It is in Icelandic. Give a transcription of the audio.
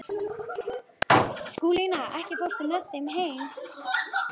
Skúlína, ekki fórstu með þeim?